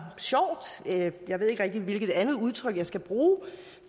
sjovt jeg ved ikke rigtig hvilket andet udtryk jeg skal bruge